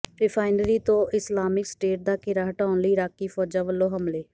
refinery ਤੋਂ Islamic State ਦਾ ਘੇਰਾ ਹਟਾਉਣ ਲਈ ਇਰਾਕੀ ਫ਼ੌਜਾਂ ਵੱਲੋਂ ਹਮਲੇ